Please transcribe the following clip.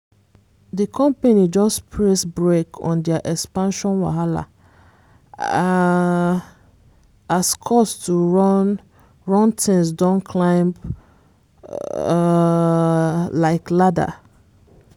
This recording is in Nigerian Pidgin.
di company just press brake on their expansion wahala um as cost to run run things don climb um like ladder